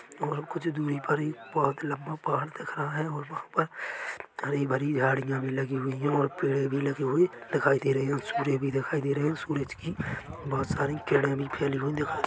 और कुछ दूरी पर ही बहुत लम्बा पहाड़ दिख रहा है और वहाँ पर हरी भरी झाडियाँ भी लगी हुई है और पेड़े भी लगे हुए दिखाई दे रहै है और सूर्य भी दिखाई दे रहै है और सूरज की बहुत सारी किरणे भी फैली हुई दिखाई--